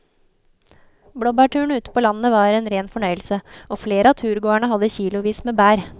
Blåbærturen ute på landet var en rein fornøyelse og flere av turgåerene hadde kilosvis med bær.